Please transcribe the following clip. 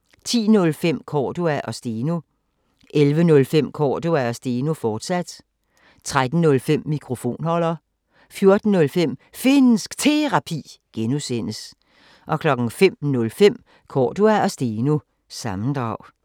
10:05: Cordua & Steno 11:05: Cordua & Steno, fortsat 13:05: Mikrofonholder 14:05: Finnsk Terapi (G) 05:05: Cordua & Steno – sammendrag